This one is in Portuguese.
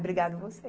Obrigada você.